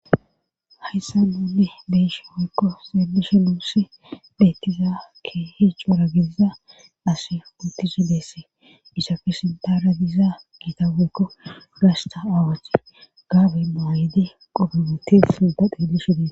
Hayssa nuunne beysha woykko xeebishe nuussi beettiza ke hiccuwora gediza as untishi deesse ishafe sindara diiza giita weykko gashta awache gaabenno hayidi qobomuti sindade dishidee